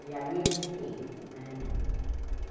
E ali eu fiquei, né?